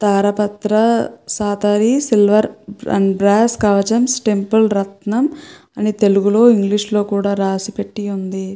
తారపత్ర సాతారి silver and brass కవచం temple రత్నం అని తెలుగు లో ఇంగ్షీషు లో కూడా రాసి పెట్టి ఉంది.